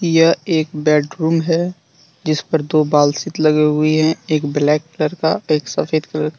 यह एक बेडरूम है जिस पर दो बाल शीत लगे हुयी है एक ब्लैक कलर का एक सफेद कलर का।